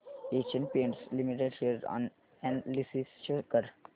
Asian Paints Limited share analysis show कर